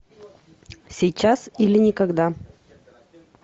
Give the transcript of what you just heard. сейчас или никогда